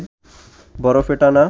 বরফে টানা